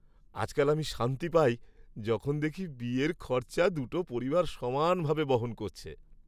আজকাল আমি শান্তি পাই যখন দেখি বিয়ের খরচা দুটো পরিবার সমানভাবে বহন করছে।